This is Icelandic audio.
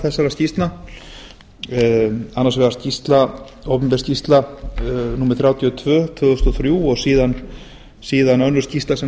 þessara skýrslna annars vegar opinber skýrsla númer þrjátíu og tvö tvö þúsund og þrjú og síðan önnur skýrsla sem